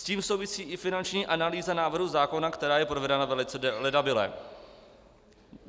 S tím souvisí i finanční analýza návrhu zákona, která je provedena velice ledabyle.